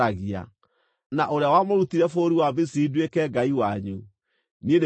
na ũrĩa wamũrutire bũrũri wa Misiri nduĩke Ngai wanyu. Niĩ nĩ niĩ Jehova.”